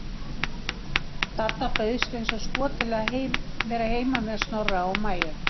Dadda bauðst eins og skot til að vera heima með Snorra og Maju.